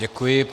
Děkuji.